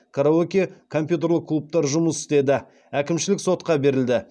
караоке компьютерлік клубтар жұмыс істеді әкімшілік сотқа берілді